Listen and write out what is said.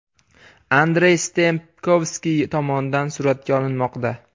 Andrey Stempkovskiy tomonidan suratga olinmoqda.